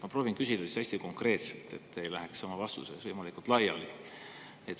Ma proovin küsida hästi konkreetselt, et te ei läheks oma vastuses laiali.